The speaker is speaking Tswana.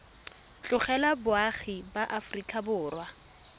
tlogela boagi ba aforika borwa